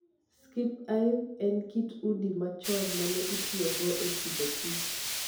Skep Hive en kit udi ma chon mane itiyogo e Agriculture and Food.